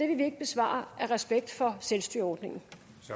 vil vi ikke svare af respekt for selvstyreordningen